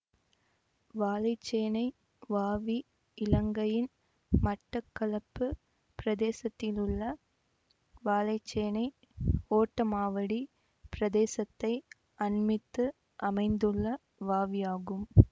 வாழைச்சேனை வாவி இலங்கையின் மட்டக்களப்பு பிரதேசத்திலுள்ள வாழைச்சேனை ஓட்டமாவடி பிரதேசத்தை அண்மித்து அமைந்துள்ள வாவியாகும்